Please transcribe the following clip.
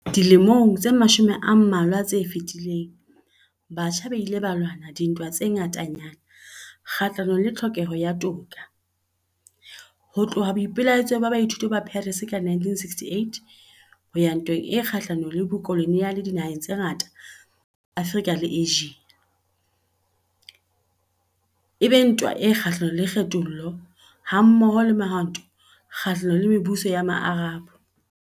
Dilemong tse mashome a mmalwa tse fetileng, batjha ba ile ba lwana dintwa tse ngatanyana kgahlanong le tlhokeho ya toka, ho tloha boipelaetsong ba baithuti ba Paris ka 1968, ho ya ntweng e kgahlanong le bokoloniale dinaheng tse ngata tsa Afrika le Asia, e be ntwa e kgahlanong le kgethollo, hammoho le Mehwanto e Kgahlanong le Mebuso ya Maarab.